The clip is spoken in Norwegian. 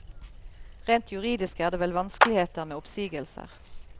Rent juridisk er det vel vanskeligheter med oppsigelser.